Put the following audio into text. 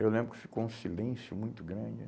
Eu lembro que ficou um silêncio muito grande.